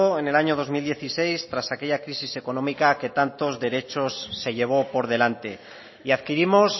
en el año dos mil dieciséis tras aquella crisis económica que tantos derechos se llevó por delante y adquirimos